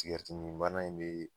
Tigɛritiminbana in be